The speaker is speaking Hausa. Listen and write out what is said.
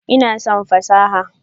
Ina son fasaha.